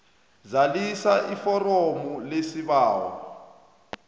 zalisa iforomo lesibawo